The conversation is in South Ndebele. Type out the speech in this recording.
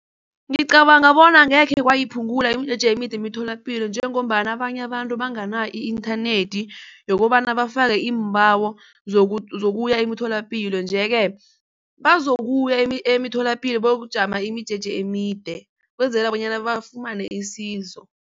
Ngicabanga bona angekhe kwayiphungula imijeje emide emitholapilo njengombana abanye abantu banganayo i-internet yokobana bafake iimbawo zokuya emitholapilo nje-ke bazokuya emitholapilo bayokujama imijeje emide kwenzela bonyana bafumane isizo.